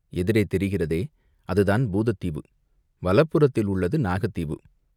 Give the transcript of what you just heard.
எதிரே தெரிகிறதே, அதுதான் பூதத்தீவு, வலப்புறத்தில் உள்ளது நாகத்தீவு.